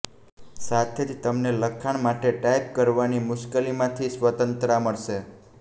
સાથે જ તમને લખાણ માટે ટાઇપ કરવાની મુશ્કેલીમાંથી સ્વતંત્રતા મળશે